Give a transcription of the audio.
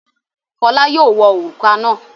Fọlá yóò wọ òrùka náà.